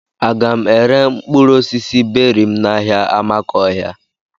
Aga m ere mkpụrụ osisi beri m n'ahia Amakohia?